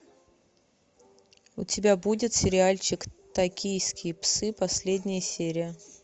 у тебя будет сериальчик токийские псы последняя серия